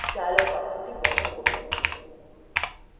dialog box বন্ধ করুন